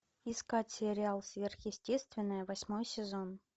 искать сериал сверхъестественное восьмой сезон